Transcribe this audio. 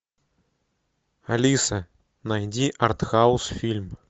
алиса найди артхаус фильм